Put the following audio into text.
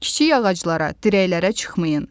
Kiçik ağaclara, dirəklərə çıxmayın.